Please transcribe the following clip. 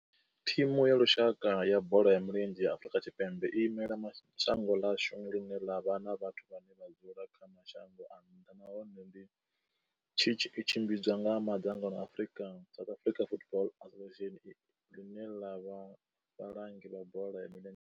Thimu ya lushaka ya bola ya milenzhe ya Afrika Tshipembe i imela shango ḽa hashu ḽi re na vhathu vhane vha dzula kha mashango a nnḓa nahone tshi tshimbidzwa nga mangano la South African Football Association, ḽine ḽa vha vhalangi vha bola.